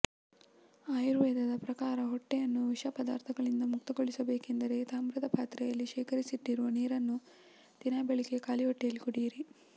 ಆಯುರ್ವೇದದ ಪ್ರಕಾರ ಹೊಟ್ಟೆಯನ್ನು ವಿಷ ಪದಾರ್ಥಗಳಿಂದ ಮುಕ್ತಗೊಳಿಸಬೇಕೆಂದರೆ ತಾಮ್ರದ ಪಾತ್ರೆಯಲ್ಲಿ ಶೇಖರಿಸಿಟ್ಟಿರುವ ನೀರನ್ನು ದಿನಾ ಬೆಳಿಗ್ಗೆ ಖಾಲಿ ಹೊಟ್ಟೆಯಲ್ಲಿ ಕುಡಿಯಿರಿ